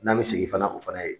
N'an be segin fana o fana ye